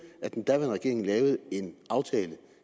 at den daværende regering lavede en aftale